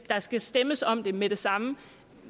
der skal stemmes om det med det samme